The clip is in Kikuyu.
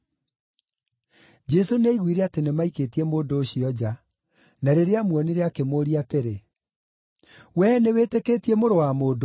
Jesũ nĩaiguire atĩ nĩmaikĩtie mũndũ ũcio nja, na rĩrĩa aamuonire akĩmũũria atĩrĩ, “Wee nĩwĩtĩkĩtie Mũrũ wa Mũndũ?”